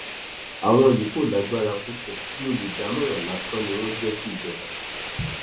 àwọn yìí kò lágbára púpọ bíi olùdámọràn lásán ni wọn jẹ síjọba